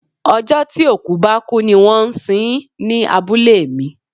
Ọjọ́ tí òkú bá kú ní wón ń sin ń ní abúlé mi.